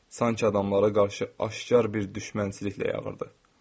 Sanki adamlara qarşı aşkar bir düşmənçiliklə yağırdı.